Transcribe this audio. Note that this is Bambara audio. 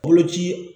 Boloci